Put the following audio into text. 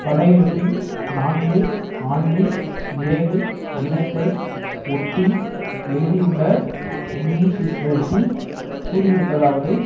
படையெடுப்பின் நான்கு ஆண்டு நிறைவு தினத்தை ஒட்டி எழுதியுள்ள நிணீக்ஷீக்ஷ்ரஸீ கூறியிருப்பதாவது